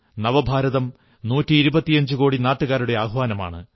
നവഭാരതം നൂറ്റിയിരുപത്തിയഞ്ചുകോടി നാട്ടുകാരുടെ ആഹ്വാനമാണ്